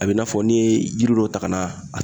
A bɛ i n'a fɔ ni ye yiri dɔ ta ka na